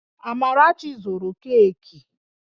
Amarachi zụru keeki